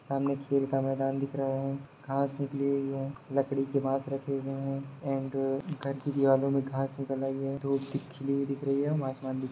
सामने खेल का मैदान दिख रहा है घास निकली हुई है लकड़ी के बांस रखे हुई हैं एण्ड घर की दीवारों में घास निकल आई है धुप दी खिली हुई दिख रही है और आसमान भी --